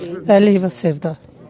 Əliyeva Sevda.